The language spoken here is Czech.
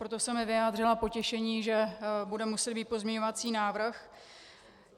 Proto jsem i vyjádřila potěšení, že bude muset být pozměňovací návrh.